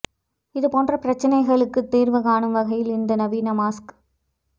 இது போன்ற பிரச்னைகளுக்கு தீர்வு காணும் வகையில் இந்த நவீன மாஸ்க்